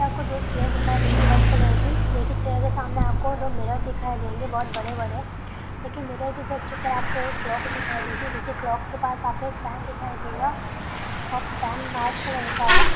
आपको दो चेयर दिखाई देंगी रेड कलर की। देखिए यह उसके सामने दो मिरर दिखाई देंगी। दो बड़े-बड़े लेकिन मिरर के जस्ट ऊपर एक क्लॉक दिखाई देंगी। क्लॉक के पास आप को एक फैन दिखाई देगा। और फैन व्हाइट कलर का है।